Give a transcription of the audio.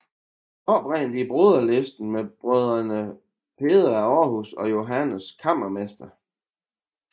Opregnet i broderlisten med brødrene Peder af Århus og Johannes Kammermester